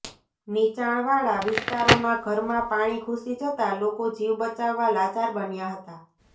નિચાણવાળા વિસ્તારોમાં ઘરમાં પાણી ઘૂસી જતા લોકો જીવ બચાવવા લાચાર બન્યા હતા